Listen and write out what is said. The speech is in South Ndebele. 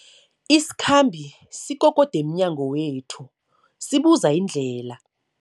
Isikhambi sikokode emnyango wethu sibuza indlela.